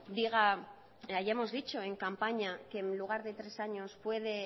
diga hayamos dicho en campaña que en lugar de tres años puede